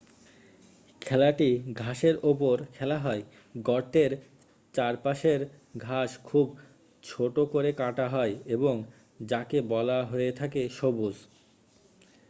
খেলাটি ঘাসের ওপর খেলা হয় গর্তের চারপাশের ঘাস খুব ছোট করে কাটা হয় এবং যাকে বলা হয়ে থাকে সবুজ